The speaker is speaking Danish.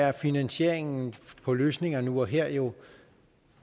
er finansieringen på løsninger nu og her jo